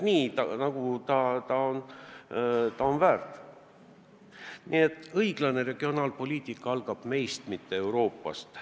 Nii et õiglane regionaalpoliitika algab meist, mitte Euroopa Liidust.